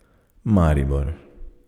Maribor.